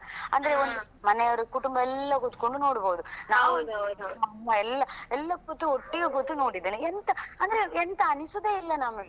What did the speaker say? ಅಂದ್ರೆ ಒಂದು ಮನೆಯವರು ಕುಟುಂಬ ಎಲ್ಲಾ ಕುತ್ಕೊಂಡು ನೋಡ್ಬಹುದು ಹಾ ನಾನು ಅಮ್ಮ ಎಲ್ಲಾ ಕೂತು ಒಟ್ಟಿಗೆ ಕೂತು ನೋಡಿದೆನೆ ಎಂತ ಅಂದ್ರೆ ಎಂತ ಅನಿಸುದೆ ಇಲ್ಲಾ ನಮ್ಗೆ.